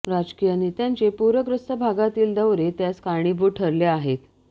राजकीय नेत्यांचे पूरग्रस्त भागातील दौरे त्यास कारणीभूत ठरले आहेत